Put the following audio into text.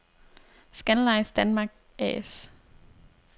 Scandlines Danmark A/S